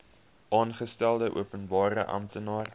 aangestelde openbare amptenaar